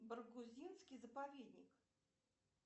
баргузинский заповедник